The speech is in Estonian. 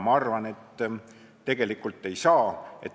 Ma arvan, et tegelikult ei ole.